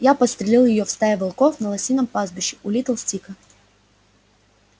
я подстрелил её в стае волков на лосином пастбище у литл стика